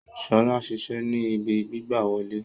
Sola ṣiṣẹ ni ìbí gbigbawole